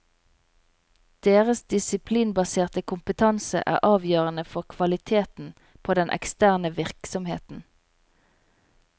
Deres disiplinbaserte kompetanse er avgjørende for kvaliteten på den eksterne virksomheten.